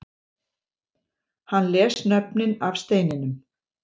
Hann les nöfnin af steininum